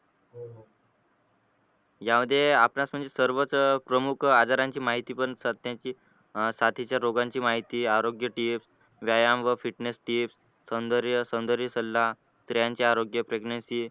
यामध्ये आपणास म्हणजे सर्वच प्रमुख आजारांची माहिती पण सध्याची साथीच्या रोगांची पण माहिती आरोग्य tips व्यायाम व fitness tips सौंदर्य सौंदर्य सल्ला, स्त्रियांचे आरोग्य, pregnency